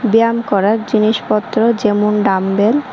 ব্যায়াম করার জিনিসপত্র যেমন- ডাম্বেল --